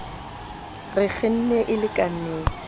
re kgenne e le ka